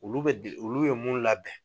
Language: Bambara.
Olu bɛ olu bɛ mun labɛn